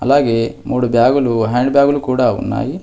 అలాగే మూడు బ్యాగులు హ్యాండ్ బ్యాగులు కూడా ఉన్నాయి.